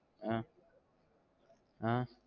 ஆஹ் ஆஹ்